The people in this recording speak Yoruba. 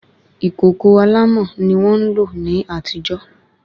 Ìkòkò alámọ̀ ni wọ́n ń lò ní àtijó